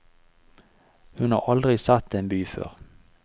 Hun har aldri sett en by før.